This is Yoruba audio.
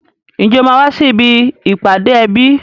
Ǹjẹ́ o máa wá sí ibi ìpàdé ẹbí?